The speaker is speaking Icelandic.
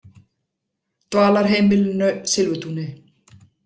Dvalarheimilinu Silfurtúni